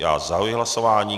Já zahajuji hlasování.